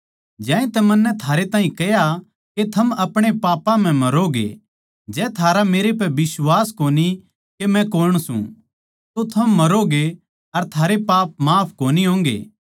ज्यांतै मन्नै थारै ताहीं कह्या के थम अपणे पापां म्ह मरोगे जै थारा मेरे म्ह बिश्वास कोनी के मै कौण सूं तो थम मरोगे अर थारे पाप माफ कोनी होंगे